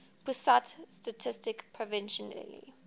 pusat statistik provisionally